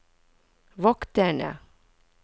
vokterne